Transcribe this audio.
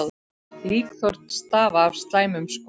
Líkþorn stafa af slæmum skóm.